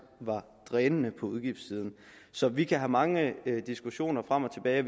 var drænende på udgiftssiden så vi kan have mange diskussioner frem og tilbage og